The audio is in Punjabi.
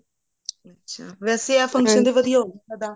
ਅੱਛਾ ਵੇਸੇ ਆਹ function ਤਾਂ ਵਧੀਆ ਹੋਗਿਆ ਉਹਦਾ